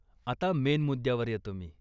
आता मेन मुद्द्यावर येतो मी.